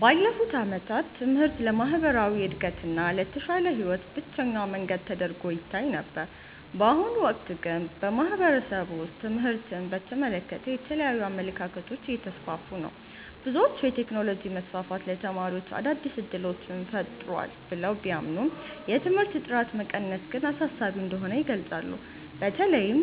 ባለፉት ዓመታት ትምህርት ለማህበራዊ እድገትና ለተሻለ ህይወት ብቸኛው መንገድ ተደርጎ ይታይ ነበር። በአሁኑ ወቅት ግን በማህበረሰቡ ውስጥ ትምህርትን በተመለከተ የተለያዩ አመለካከቶች እየተስፋፉ ነው። ብዙዎች የቴክኖሎጂ መስፋፋት ለተማሪዎች አዳዲስ እድሎችን ፈጥሯል ብለው ቢያምኑም፣ የትምህርት ጥራት መቀነስ ግን አሳሳቢ እንደሆነ ይገልጻሉ። በተለይም